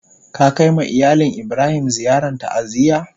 Ka kai ma iyalin Ibrahim ziyaran ta'aziyya?